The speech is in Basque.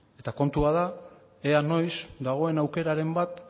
eta kontua da ea noiz dagoen aukeraren bat